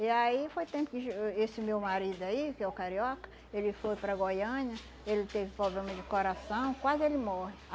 E aí foi tempo que esse meu marido aí, que é o carioca, ele foi para Goiânia, ele teve problema de coração, quase ele morre.